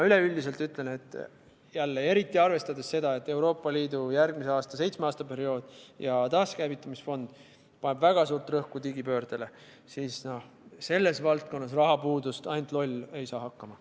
Üleüldiselt ütlen, et eriti arvestades seda, et Euroopa Liidu järgmise seitsme aasta periood ja taaskäivitamisfond paneb väga suurt rõhku digipöördele, siis selles valdkonnas rahapuudust ei ole – jah, ainult loll ei saa hakkama.